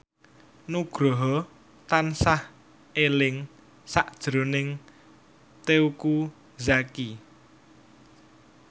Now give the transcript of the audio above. Nugroho tansah eling sakjroning Teuku Zacky